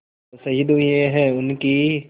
जो शहीद हुए हैं उनकी